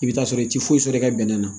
I bɛ t'a sɔrɔ i tɛ foyi sɔrɔ i ka bɛnɛ na